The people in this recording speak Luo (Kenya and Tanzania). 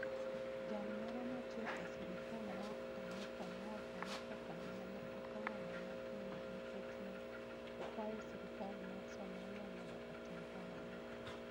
Jal moro matiyo e sirkal mar Amerka nowacho ni okang' ma ne okawono ne en nikech ne okwayo sirkal mar Somalia mondo otim kamano.